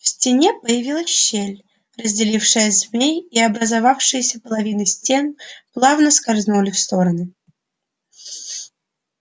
в стене появилась щель разделившая змей и образовавшиеся половины стен плавно скользнули в стороны